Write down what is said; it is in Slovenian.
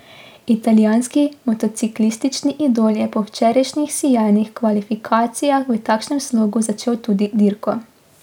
Italijanski motociklistični idol je po včerajšnjih sijajnih kvalifikacijah v takšnem slogu začel tudi dirko.